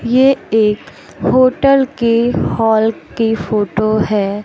ये एक होटल के हॉल की फोटो है।